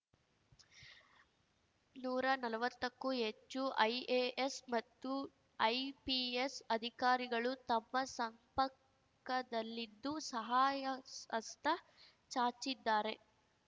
ನೂರಾ ನಲ್ವತ್ತಕ್ಕೂ ಹೆಚ್ಚು ಐಎಎಸ್‌ ಮತ್ತು ಐಪಿಎಸ್‌ ಅಧಿಕಾರಿಗಳು ತಮ್ಮ ಸಂಪಕದಲ್ಲಿದ್ದು ಸಹಾಯಸ್ ಹಸ್ತ ಚಾಚಿದ್ದಾರೆ